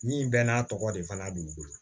Min bɛɛ n'a tɔgɔ de fana b'u bolo